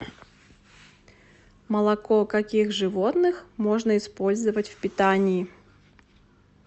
молоко каких животных можно использовать в питании